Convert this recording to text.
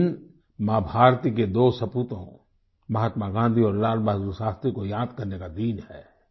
यह दिन माँ भारती के दो सपूतों महात्मा गाँधी और लाल बहादुर शास्त्री को याद करने का दिन है